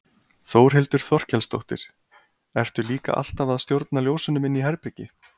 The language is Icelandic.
Þórhildur Þorkelsdóttir: Ertu líka alltaf að stjórna ljósunum inni í herbergi?